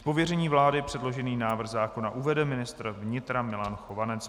Z pověření vlády předložený návrh zákona uvede ministr vnitra Milan Chovanec.